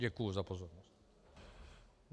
Děkuji za pozornost.